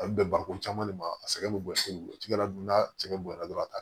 A bɛ bɛn bari ko caman de ma a sɛgɛn bɛ bɔ sini ladon n'a sɛgɛn bonya dɔrɔn